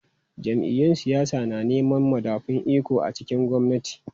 Jam’iyyun siyasa na neman madafun iko a cikin gwamnati.